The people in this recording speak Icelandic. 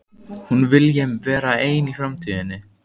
Hún vilji vera ein í framtíðinni.